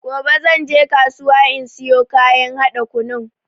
Gobe zanje kasuwa in siyo kayan haɗa kunun.